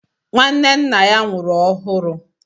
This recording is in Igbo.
Nwanne nna ya nwụrụ ọhụru